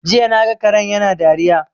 Jiya naga karen yana dariya